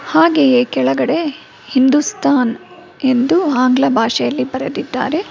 ಹಾಗೆಯೇ ಕೆಳಗಡೆ ಹಿಂದುಸ್ತಾನ್ ಎಂದು ಆಂಗ್ಲ ಭಾಷೆಯಲ್ಲಿ ಬರೆದಿದ್ದಾರೆ.